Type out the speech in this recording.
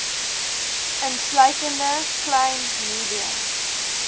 insluitende klein medium